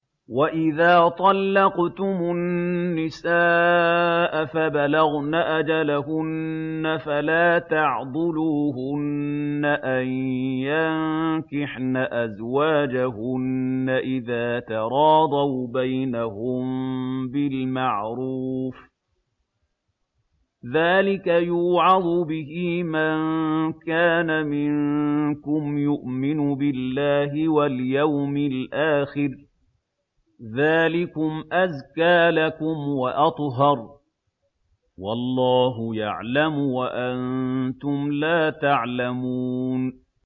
وَإِذَا طَلَّقْتُمُ النِّسَاءَ فَبَلَغْنَ أَجَلَهُنَّ فَلَا تَعْضُلُوهُنَّ أَن يَنكِحْنَ أَزْوَاجَهُنَّ إِذَا تَرَاضَوْا بَيْنَهُم بِالْمَعْرُوفِ ۗ ذَٰلِكَ يُوعَظُ بِهِ مَن كَانَ مِنكُمْ يُؤْمِنُ بِاللَّهِ وَالْيَوْمِ الْآخِرِ ۗ ذَٰلِكُمْ أَزْكَىٰ لَكُمْ وَأَطْهَرُ ۗ وَاللَّهُ يَعْلَمُ وَأَنتُمْ لَا تَعْلَمُونَ